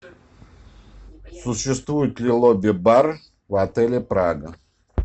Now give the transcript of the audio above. существует ли лобби бар в отеле прага